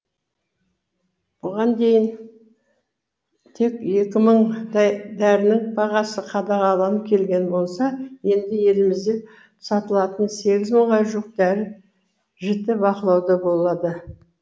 бұған дейін тек екі мыңдай дәрінің бағасы қадағаланып келген болса енді елімізде сатылатын сегіз мыңға жуық дәрі жіті бақылауда болады